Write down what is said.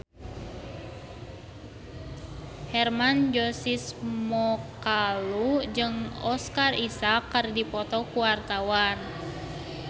Hermann Josis Mokalu jeung Oscar Isaac keur dipoto ku wartawan